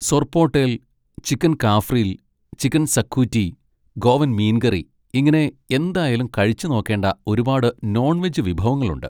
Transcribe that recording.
Sorpotel, chicken cafreal, chicken xacuti, Goan മീൻ കറി, ഇങ്ങനെ എന്തായാലും കഴിച്ചു നോക്കേണ്ട ഒരുപാട് നോൺ വെജ് വിഭവങ്ങളുണ്ട്.